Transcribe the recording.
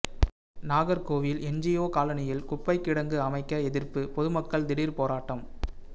Nagercoil NGO காலனியில் குப்பை கிடங்கு அமைக்க எதிர்ப்பு பொதுமக்கள் திடீர் போராட்டம்